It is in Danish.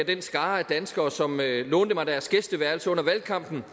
den skare af danskere som lånte mig deres gæsteværelse under valgkampen